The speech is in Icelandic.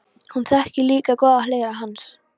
Hún þekkir líka góðar hliðar hans.